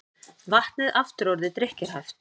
Vatnið aftur orðið drykkjarhæft